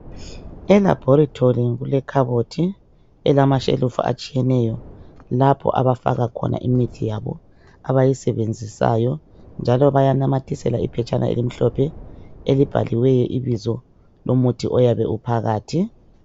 E laboratory kule khabothi elamashelufu atshiyeneyo lapho abafaka khona imithi yabo abayisebenzisayo njalo bayanamathisela iphetshana elimhlophe elibhaliweyo ibizo lomuthi oyabe uphakathi